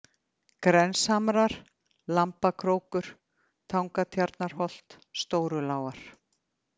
Grenshamrar, Lambakrókur, Tangatjarnarholt, Stórulágar